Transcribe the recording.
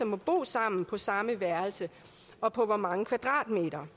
må bo sammen på samme værelse og på hvor mange kvadratmeter